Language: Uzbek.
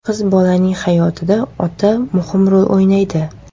Qiz bolaning hayotida ota muhim rol o‘ynaydi.